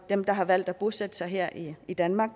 dem der har valgt at bosætte sig her i danmark